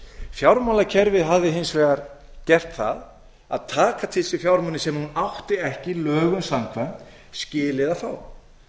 fjármálakerfið hafði hins vegar gert það að taka til sín fjármuni sem það átti ekki lögum samkvæmt skilið að fá það sem